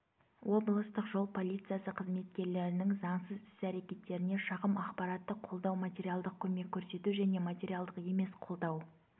облыстық жол полициясы қызметкерлерінің заңсыз іс-әрекеттеріне шағым ақпараттық қолдау материалдық көмек көрсету және материалдық емес қолдау